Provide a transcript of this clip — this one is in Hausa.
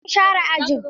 Eh an share ajin.